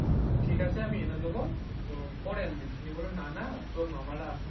ঠিক আছে আমি এনে দেবো পরে এনে দিচ্ছি বলল না না তোর মামারা আসছে